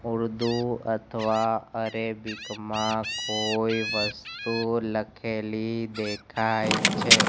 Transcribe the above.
ઉર્દુ અથવા અરેબિક મા કોઈ વસ્તુ લખેલી દેખાય છે.